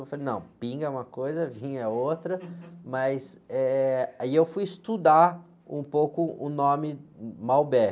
Eu falei, não, pinga é uma coisa, vinho é outra, mas, eh, aí eu fui estudar um pouco o nome Malbec.